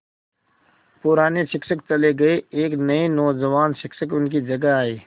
पुराने शिक्षक चले गये एक नये नौजवान शिक्षक उनकी जगह आये